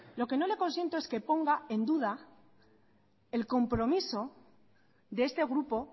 lo que no le consiento es que ponga en duda el compromiso de este grupo